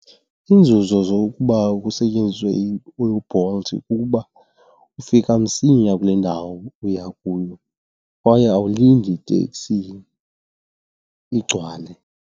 Iinzuzo zokuba kusetyenziswe uBolt kukuba ufika msinya kule ndawo uya kuyo kwaye awulindi tekisini igcwale.